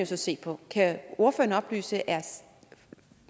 så se på kan ordføreren oplyse er